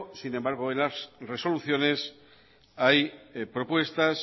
sin embargo en las resoluciones hay propuestas